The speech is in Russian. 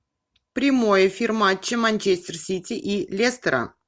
прямой эфир матча манчестер сити и лестера